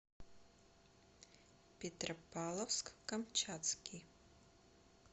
петропавловск камчатский